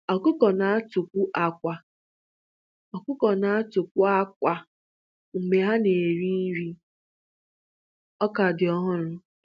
Ọkụkọ na-atụkwu àkwá Ọkụkọ na-atụkwu àkwá mgbe ha na-eri nri ọka dị ọhụrụ.